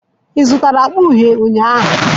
Ị zụtara akpa uhie ụnyahụ?